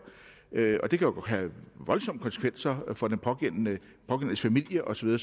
det kan jo have voldsomme konsekvenser for den pågældendes familie og så